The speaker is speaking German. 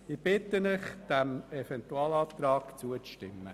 Ich bitte Sie, diesem Eventualantrag zuzustimmen.